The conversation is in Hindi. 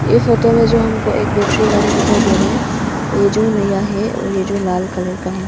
ये फोटो में जो हमको एक बैटरी गाड़ी दिखाई दे रहे हैं ये जो नया है और ये जो लाल कलर का है।